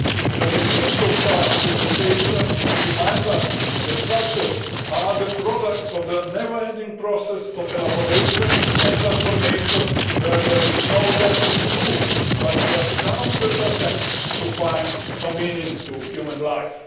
The remains of past civilisations remind us that cultures are the product of a never ending process of elaboration and transformation where there is no definite truth but just countless attempts to find a meaning to human life.